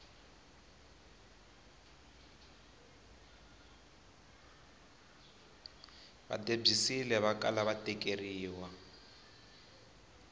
va debyisile vakala va tekeriwa